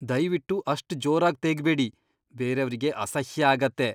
ದಯ್ವಿಟ್ಟು ಅಷ್ಟ್ ಜೋರಾಗ್ ತೇಗ್ಬೇಡಿ, ಬೇರೇವ್ರಿಗೆ ಅಸಹ್ಯ ಆಗತ್ತೆ.